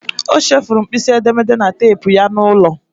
O chefuru mkpịsị edemede na teepu ya n'ụlọ.